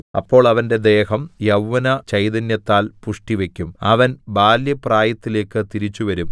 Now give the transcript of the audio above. അപ്പോൾ അവന്റെ ദേഹം യൗവ്വനചൈതന്യത്താൽ പുഷ്ടിവയ്ക്കും അവൻ ബാല്യപ്രായത്തിലേക്ക് തിരിച്ചുവരും